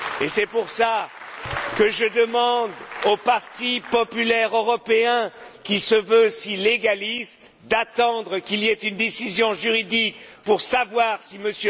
C'est pour cela que je demande au Parti populaire européen, qui se veut si légaliste, d'attendre qu'il y ait une décision juridique pour savoir si M.